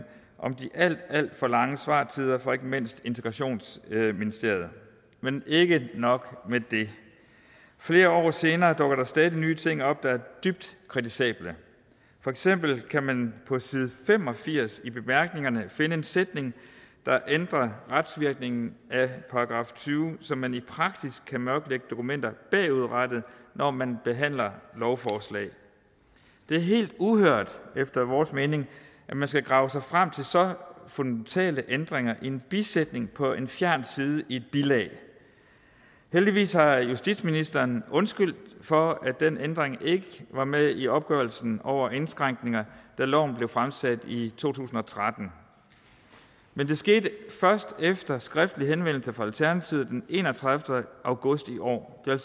om de alt alt for lange svartider fra ikke mindst integrationsministeriet men ikke nok med det flere år senere dukker der stadig nye ting op der er dybt kritisable for eksempel kan man på side fem og firs i bemærkningerne finde en sætning der ændrer retsvirkningen af § tyve så man i praksis kan mørklægge dokumenter bagudrettet når man behandler lovforslag det er helt uhørt efter vores mening at man skal grave sig frem til så fundamentale ændringer i en bisætning på en fjern side i et bilag heldigvis har justitsministeren undskyldt for at den ændring ikke var med i opgørelsen over indskrænkninger da loven blev fremsat i to tusind og tretten men det skete først efter en skriftlig henvendelse fra alternativet den enogtredivete august i år det vil